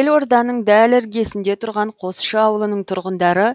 елорданың дәл іргесінде тұрған қосшы ауылының тұрғындары